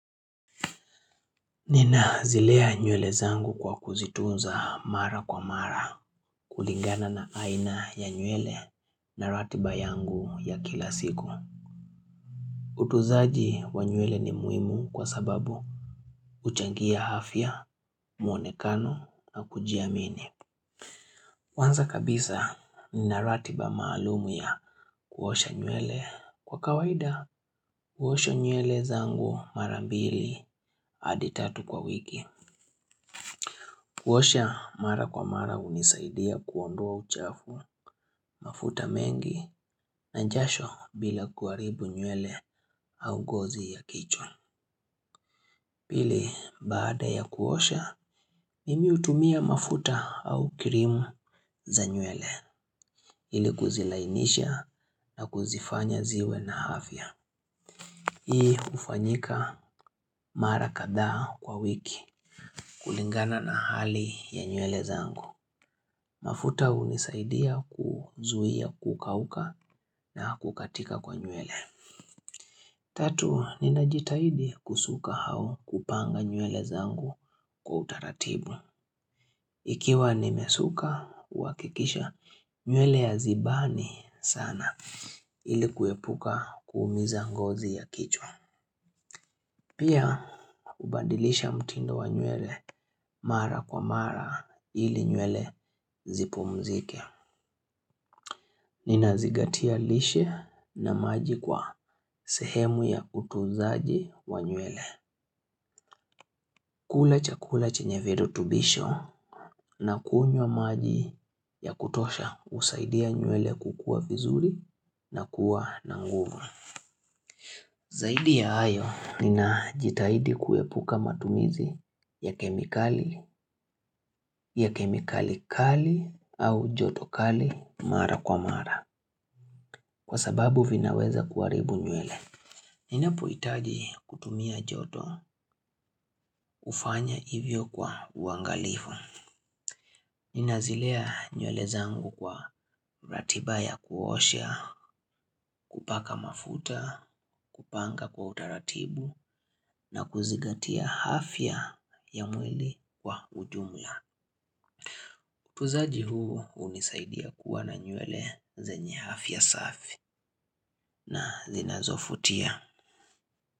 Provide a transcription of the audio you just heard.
Nina zilea nywele zangu kwa kuzitunza mara kwa mara kulingana na aina ya nywele na ratiba yangu ya kila siku. Utunzaji wa nywele ni muhimu kwa sababu huchangia afya, muonekano na kujiamini. Kwanza kabisa nina ratiba maalumu ya kuosha nywele. Kwa kawaida, huosha nywele zangu marambili hadi tatu kwa wiki. Kuosha mara kwa mara hunisaidia kuondoa uchafu mafuta mengi na jasho bila kuharibu nywele au ngozi ya kichwa. Pili baada ya kuosha, mimi hutumia mafuta au kirimu za nywele ili kuzilainisha na kuzifanya ziwe na afya. Hii ufanyika mara kadhaa kwa wiki kulingana na hali ya nywele zangu. Mafuta hunisaidia kuzuia kukauka na kukatika kwa nywele. Tatu, ninajitahidi kusuka au kupanga nywele zangu kwa utaratibu. Ikiwa nimesuka, uwakikisha nywele hazibani sana ili kuepuka kuumiza ngozi ya kichwa. Pia, hubandilisha mtindo wa nywele mara kwa mara ili nywele zipumzike. Nina zingatia lishe na maji kwa sehemu ya utunzaji wa nywele. Kula chakula chenye virutubisho na kunywa maji ya kutosha husaidia nywele kukua vizuri na kuwa nanguvu. Zaidi ya hayo, nina jitaidi kuepuka matumizi ya kemikali, ya kemikali kali au jotokali mara kwa mara. Kwa sababu vinaweza kuharibu nywele. Ninapohitaji kutumia joto hufanya hivyo kwa uangalifu. Ninazilea nywele zangu kwa ratiba ya kuosha, kupaka mafuta, kupanga kwa utaratibu na kuzigatia afya ya mwili kwa ujumla. Utunzaji huu hunisaidia kuwa na nywele zenye afya safi na zinazofutia.